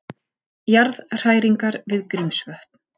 Jarðhræringar við Grímsvötn